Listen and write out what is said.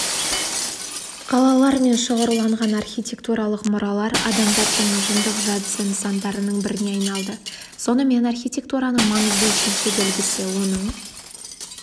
қалалармен шоғырланған архитектуралық мұралар адамзаттың ұжымдық жадысы нысандарының біріне айналды сонымен архитектураның маңызды үшінші белгісі оның